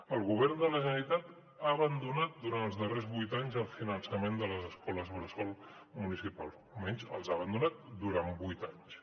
el govern de la generalitat ha abandonat durant els darrers vuit anys el finançament de les escoles bressol municipals o almenys els ha abandonat durant vuit anys